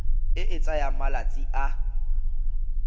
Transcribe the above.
e e tsayang malatsi a